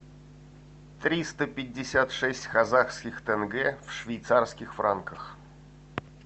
триста пятьдесят шесть казахских тенге в швейцарских франках